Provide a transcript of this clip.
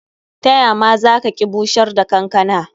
Ta ya ma za ki bushar da kankana?